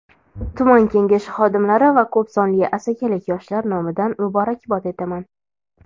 tuman Kengashi xodimlari va ko‘p sonli Asakalik yoshlar nomidan muborakbod etaman.